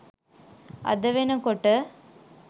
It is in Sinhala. අද වෙනකොට